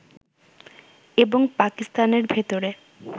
এবং পাকিস্তানের ভেতরে